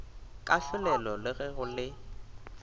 kahlolelo le ge go le